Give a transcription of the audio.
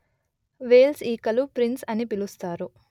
Wales ఈకలు prince అని పిలుస్తారు